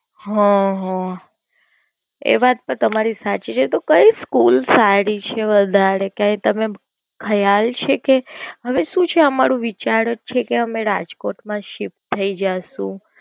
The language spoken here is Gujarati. હમ હમ એ વાત તો તમારી સાચી છે તો કઈ School સારી છે વધારે કઈ તમે ખ્યાલ છે કે હવે શું છે આ મારો વિચાર જ છે કે અમે રાજકોટ માં જ Shift થાઇ જાશું.